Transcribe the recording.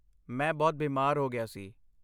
ਮੈਂ ਬਹੁਤ ਬੀਮਾਰ ਹੋ ਗਿਆ ਸੀ।